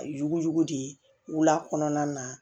Yugujugu de ye wula kɔnɔna na